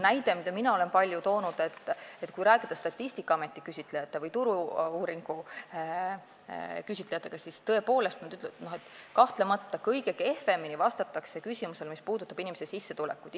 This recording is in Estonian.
Näide, mida mina olen palju toonud, on see, et kui rääkida Statistikaameti või Turu-uuringute küsitlejatega, siis selgub, et kõige kehvemini vastatakse küsimusele, mis puudutab sissetulekut.